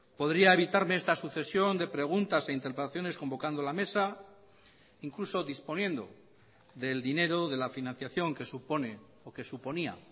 podría evitarme esta sucesión de preguntas e interpelaciones convocando la mesa incluso disponiendo del dinero de la financiación que supone o que suponía